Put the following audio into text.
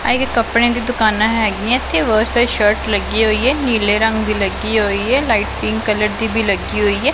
ਆਹ ਇੱਕ ਕਪੜਿਆਂ ਦੀ ਦੁਕਾਨਾਂ ਹਿਗਿਆਂ ਇੱਥੇ ਬਹੁਤ ਸਾਰੀ ਸ਼ਰਟ ਲੱਗਿਆ ਹੋਇਆ ਨੀਲੇ ਰੰਗ ਦੀ ਲੱਗੀ ਹੋਈਆ ਲਾਈਟ ਪਿੰਕ ਕਲਰ ਦੀ ਵੀ ਲੱਗੀ ਹੋਈਆ।